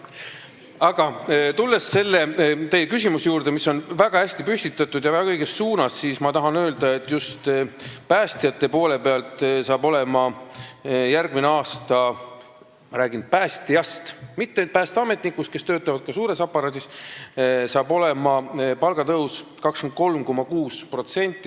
Aga tulles teie küsimuse juurde, mis on väga hästi püstitatud ja väga õige, ma tahan öelda, et just päästjate poole pealt – räägin praegu päästjatest, mitte päästeametnikest, kes töötavad ka suures aparaadis – tuleb järgmisel aastal palgatõus 23,6%.